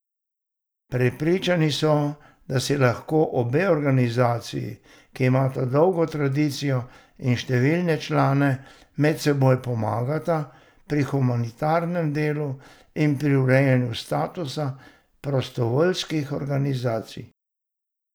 Prepričani so, da si lahko obe organizaciji, ki imata dolgo tradicijo in številne člane, medsebojno pomagata pri humanitarnem delu in pri urejanju statusa prostovoljskih organizacij.